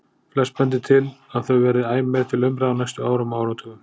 Flest bendir til að þau verði æ meir til umræðu á næstu árum og áratugum.